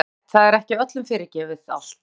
Og alveg rétt, það er ekki öllum fyrirgefið allt.